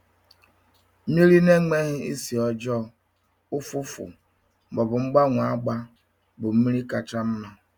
Mmiri na-enweghị isi ọjọọ, ụfụfụ ma ọ bụ mgbanwe agba bụ mmiri kacha mma.